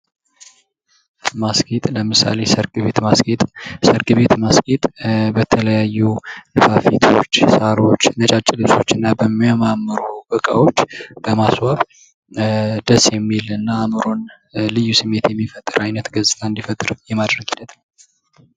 ማስጌጥ ለምሳሌ ሰርግ ቤት ማስጌጥ፤ ሰርግ ቤት ማስጌጥ በተለያዩ ንፋፊቶች፣ ሳሮች፣ ነጫጭ ልብሶችና በሚያማምሩ ዕቃዎች በማስዋብ ደስ የሚልና አይምሮውን ልዩ ስሜት የሚፈጥር ዓይነት ገጽታን እንዲፈጥር የማድረግ ሂደት ነው።